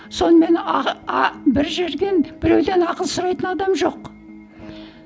сонымен бір жерден біреуден ақыл сұрайтын адам жоқ